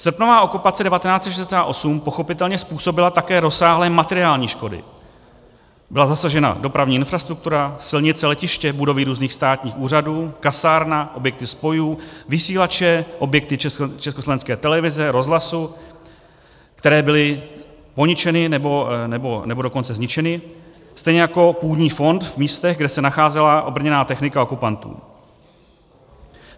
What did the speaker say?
Srpnová okupace 1968 pochopitelně způsobila také rozsáhlé materiální škody, byla zasažena dopravní infrastruktura, silnice, letiště, budovy různých státních úřadů, kasárna, objekty spojů, vysílače, objekty Československé televize, rozhlasu, které byly poničeny, nebo dokonce zničeny, stejně jako půdní fond v místech, kde se nacházela obrněná technika okupantů.